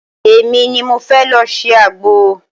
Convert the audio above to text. Emi mi ni mo fẹ́ lọ ṣe àgbo.